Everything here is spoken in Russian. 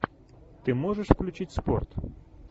ты можешь включить спорт